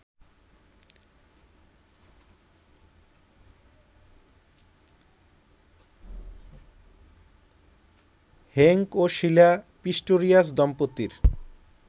Henk ও Sheila Pistorius দম্পতির